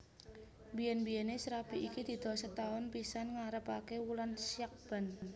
Biyen biyene srabi iki didol setaun pisan ngarepake wulan Syakban